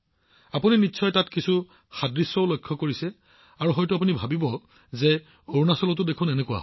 ঠিক আছে আপুনি নিশ্চয় তাতো কিছু সাদৃশ্য লক্ষ্য কৰিছে আপুনি ভাবিছে নে যে হয় অৰুণাচলতো এয়া একেই